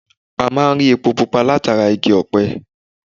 A máa ń rí epo pupa látara Igi ọ̀pẹ